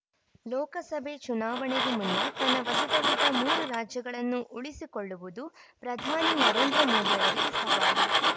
ಲೋಕಸಭೆ ಚುನಾವಣೆಗೂ ಮುನ್ನ ತನ್ನ ವಶದಲ್ಲಿದ್ದ ಮೂರು ರಾಜ್ಯಗಳನ್ನು ಉಳಿಸಿಕೊಳ್ಳುವುದು ಪ್ರಧಾನಿ ನರೇಂದ್ರ ಮೋದಿ ಅವರಿಗೆ ಸವಾಲು